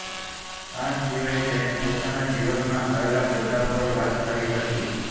આ સિવાય તેણે પોતાના જીવનમાં આવેલા બદલાવ પર વાત કરી હતી